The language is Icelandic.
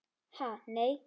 Ha nei.